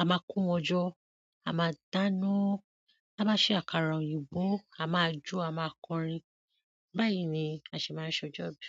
a máa ko wọn jọ́, a máa dáná. Máá ṣe àkàrà òyìnbó, a máa jó, a máa kọrin. Báyìí ni a se máa ń ṣọjọ́ ìbí.